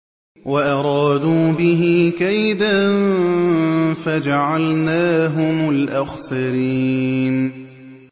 وَأَرَادُوا بِهِ كَيْدًا فَجَعَلْنَاهُمُ الْأَخْسَرِينَ